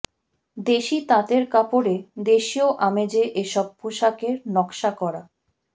দেশি তাঁতের কাপড়ে দেশীয় আমেজে এসব পোশাকের নকশা করা